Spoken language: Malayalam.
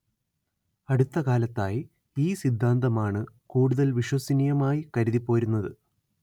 അടുത്ത കാലത്തായി ഈ സിദ്ധാന്തമാണ് കൂടുതൽ വിശ്വസനീയമായി കരുതിപ്പോരുന്നത്‌